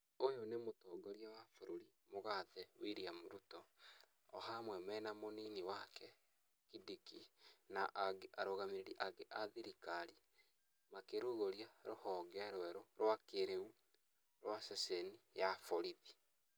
Ũyũ nĩ mũtongoria wa bũrũri, mũgathe William Ruto, o hamwe mena mũnini wake, Kindiki, na angĩ, arũgamĩrĩri angĩ a thirikari, makĩrũgũria rũhonge rwerũ rwa kĩrĩu rwa ceceni ya borithi.